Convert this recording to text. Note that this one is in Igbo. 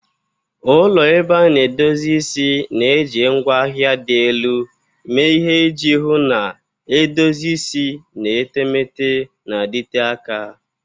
Ụlọ ebe a na-edozi isi na-eji ngwaahịa dị elu mee ihe iji hụ na edozi isi na etemeete na-adịte aka.